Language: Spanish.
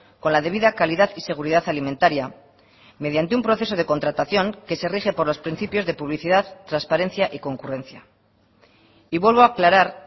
con la debida calidad y seguridad alimentaria mediante un proceso de contratación que se rige por los principios de publicidad transparencia y concurrencia y vuelvo a aclarar